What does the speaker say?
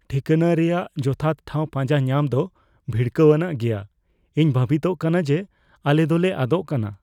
ᱴᱷᱤᱠᱟᱹᱱᱟ ᱨᱮᱭᱟᱜ ᱡᱚᱛᱷᱟᱛ ᱴᱷᱟᱶ ᱯᱟᱸᱡᱟ ᱧᱟᱢ ᱫᱚ ᱵᱷᱤᱲᱠᱟᱹᱣᱟᱱᱟᱜ ᱜᱮᱭᱟ ᱾ ᱤᱧ ᱵᱷᱟᱵᱤᱛᱚᱜ ᱠᱟᱱᱟ ᱡᱮ ᱟᱞᱮ ᱫᱚᱞᱮ ᱟᱫᱚᱜ ᱠᱟᱱᱟ ᱾